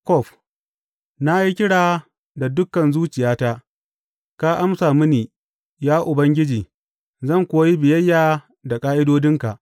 Kof Na yi kira da dukan zuciyata; ka amsa mini, ya Ubangiji, zan kuwa yi biyayya da ƙa’idodinka.